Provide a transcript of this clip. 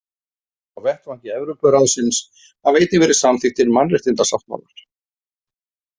Á vettvangi Evrópuráðsins hafa einnig verið samþykktir mannréttindasáttmálar.